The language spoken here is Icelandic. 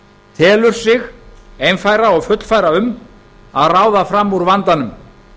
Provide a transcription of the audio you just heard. telur sig einfæra um og fullfæra að ráða fram úr vandanum